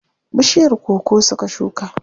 Bishiyar koko suka shuka.